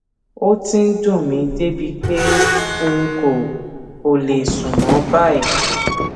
ó ti ń dùn mí débi pé n kò kò lè sùn mọ báyìí